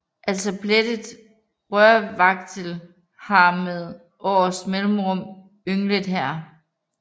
Også plettet rørvagtel har med års mellemrum ynglet her